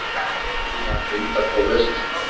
Er sannað að greindarpróf verki?